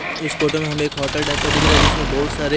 इस फोटो में हमें एक होटल टाइप का दिख रहा है जिसमें बहुत सारे --